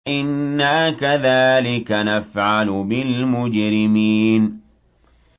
إِنَّا كَذَٰلِكَ نَفْعَلُ بِالْمُجْرِمِينَ